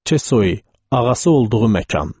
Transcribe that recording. Çesoi ağası olduğu məkan.